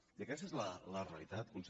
i aquesta és la realitat conseller